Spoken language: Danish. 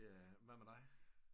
Hvad med dig